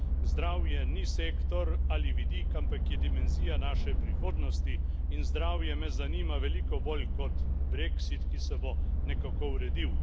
Zdravje ni sektor ali vidik, ampak je dimenzija naše prihodnosti, in zdravje me zanima veliko bolj kot brexit, ki se bo nekako uredil.